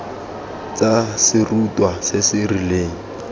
tsa serutwa se se rileng